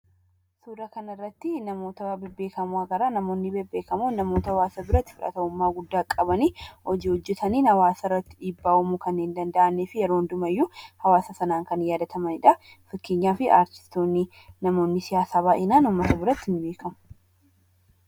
Suuraa kanarratti namoota bebbeekamoo agarra. Namoonni bebbeekamoon namoota hawaasa biratti fudhatamummaa guddaa qabani, hojii hojjetaniin hawaasa irratti dhiibbaa uumuu kanneen danda'anii fi yeroo hundumayyuu hawaasa sanaan kan yaadatamani dha. Fakkeenyaaf artistoonni, namoonni siyaasaa baay'inaan ummata biratti ni beekamu.